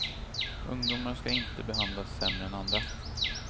Ungdomar ska inte behandlas sämre än andra.